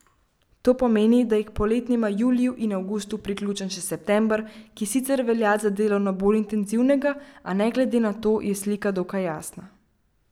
To pomeni, da je k poletnima juliju in avgustu priključen še september, ki sicer velja za delovno bolj intenzivnega, a ne glede na to je slika dokaj jasna.